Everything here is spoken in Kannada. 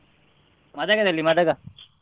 Madaga ದಲ್ಲಿ Madaga .